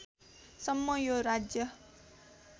सम्म यो राज्य